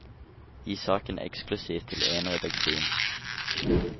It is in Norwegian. Gi saken eksklusivt til én redaksjon.